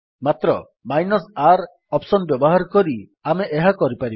ମାତ୍ର -R option ବ୍ୟବହାର କରି ଆମେ ଏହା କରିପାରିବା